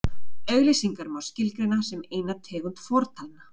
Auglýsingar má skilgreina sem eina tegund fortalna.